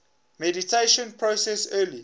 mediation process early